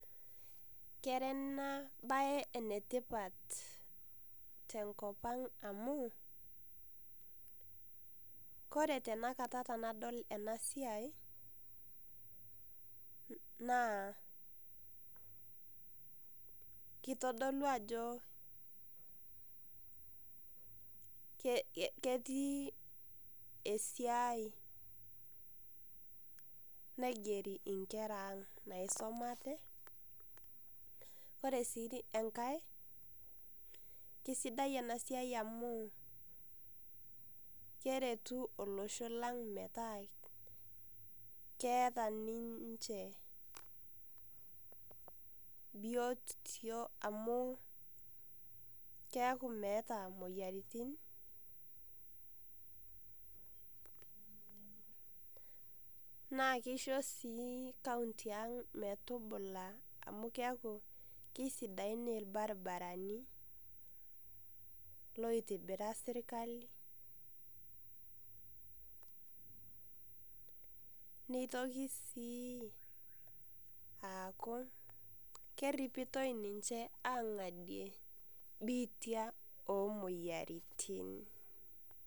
Kera enabae enetipat tenkop ang, kore tanakata tenadol enasiai, naa kitodolu ajo ketii esiai naigeri inkera ang naisomate. Kore si enkae, kesidai enasiai amu keretu olosho lang metaa keeta ninche biotio amu keeku meeta moyiaritin, naa kisho si kaunti ang metubula amu keeku kisidain irbarabarani, loitibira sirkali, nitoki si aku kerripitoi ninche ang'adie biitia omoyiaritin.